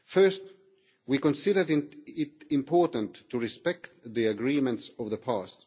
Firstly, we considered it important to respect the agreements of the past.